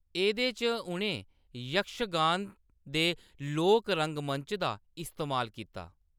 एह्‌‌‌दे च उʼनें यक्षगान दे लोक रंगमंच दा इस्तेमाल कीता।